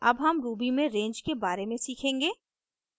अब हम ruby में range के बारे में सीखेंगे